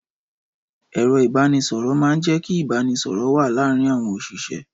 Ẹ̀rọ ìbánisọ̀rọ̀ máa ń jẹ́ kí ìbánisọ̀rọ̀ wà láàárín àwọn òṣìṣẹ́.